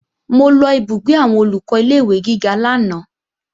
Mo lọ ìbúgbé àwọn Olùkọ́ ilé-ìwé gíga lánàá